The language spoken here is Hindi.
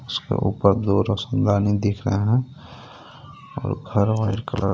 उसके ऊपर दो दिख रहे हे और घर वाइट कलर --